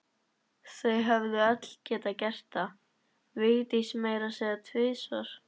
Þau höfðu öll gert það, Vigdís meira að segja tvisvar.